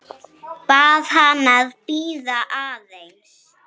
Bað hana að bíða aðeins.